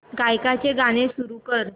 गायकाचे गाणे सुरू कर